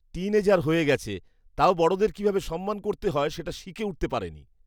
Tin এজার হয়ে গেছে, তাও বড়দের কিভাবে সম্মান করতে হয় সেটা শিখে উঠতে পারেনি।